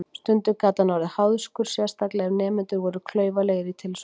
Stundum gat hann orðið háðskur, sérstaklega ef nemendur voru klaufalegir í tilsvörum.